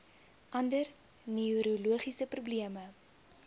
ander neurologiese probleme